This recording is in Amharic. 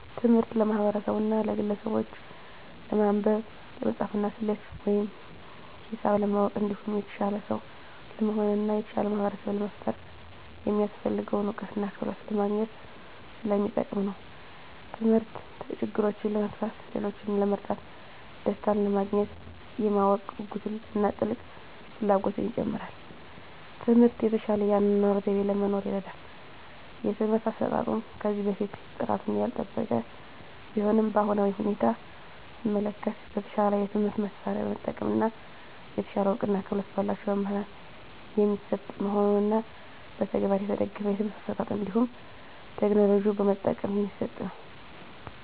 ትምህርት ለማህበርሰቡና ለግለሰቡች ለማንበብ፣ ለመፃፍና፣ ሰሌት ወይም ሂሳብ ለማወቅ እንዲሁም የተሻለ ሰው ለመሆን እና የተሻለ ማህበርሰብ ለመፍጠር የሚያሰፍልገውን እውቀትና ክህሎት ለማግኝት ሰለሚጠቅም ነው። ተምህርት ችግሮችን ለመፍታት፣ ሌሎችን ለመርዳት፣ ደሰታንለማግኘት፣ የማወቅ ጉጉትን እና ጥልቅ ፍላጎትን ይጨምራል። ትምህርት የተሻለ የአኗኗር ዘይቤ ለመኖር ይርዳል። የትምህርት አሰጣጡም ከዚህ በፊት ጥራቱን ያልጠበቀ ቢሆንም በአሁናዊ ሁኔታ ሰመለከት በተሻለ የትምህርት መሳርያ በመጠቀም እና የተሻለ እውቀትና ክህሎት በላቸው መምህራን የሚሰጥ መሆኑንና በተግባር የተደገፍ የትምህርት አሰጣጥ እንዲሁም ቴክኖሎጂ በመጠቀም የሚሰጥ ነው።